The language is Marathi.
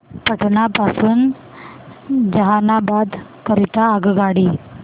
पटना पासून जहानाबाद करीता आगगाडी